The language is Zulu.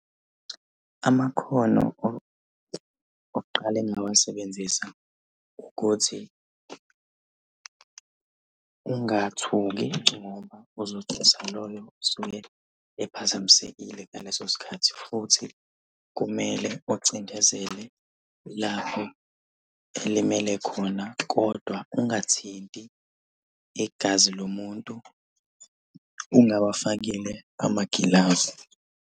Amakhono okuqala engingawasebenzisa ukuthi ungathuki ngoba uzothusa loyo osuke ephazamisekile ngaleso sikhathi, futhi kumele ucindezele lapho elimele khona, kodwa ungathinti igazi lomuntu ungawafakile amagilavu.